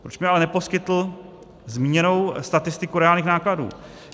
Proč mi ale neposkytl zmíněnou statistiku reálných nákladů?